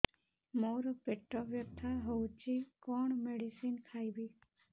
ମୋର ପେଟ ବ୍ୟଥା ହଉଚି କଣ ମେଡିସିନ ଖାଇବି